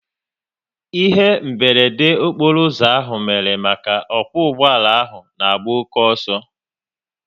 Ihe meberede okporo ụzọ ahụ mere maka n'okwo ụgbọala ahụ na-agba oke ọsọ